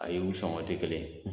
A yi u sɔngɔn tɛ kelen ye.